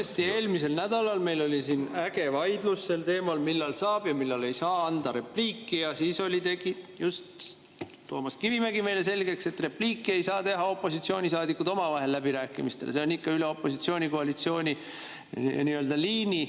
Tõesti, eelmisel nädalal meil oli siin äge vaidlus sel teemal, millal saab ja millal ei saa anda repliiki, ja siis tegi just Toomas Kivimägi meile selgeks, et repliiki ei saa teha opositsioonisaadikud omavahel läbirääkimistel, see käib ikka nii-öelda üle opositsiooni-koalitsiooni liini.